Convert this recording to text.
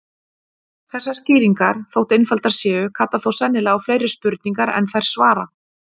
Þessar skýringar, þótt einfaldar séu, kalla þó sennilega á fleiri spurningar en þær svara.